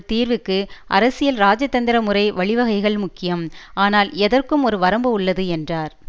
தீர்விற்கு அரசியல்இராஜதந்திரமுறை வழிவகைகள் முக்கியம் ஆனால் எதற்கும் ஒரு வரம்பு உள்ளது என்றார்